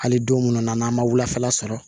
Hali don munnu na n'an ma wulafɛla sɔrɔ